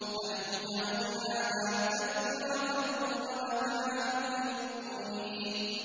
نَحْنُ جَعَلْنَاهَا تَذْكِرَةً وَمَتَاعًا لِّلْمُقْوِينَ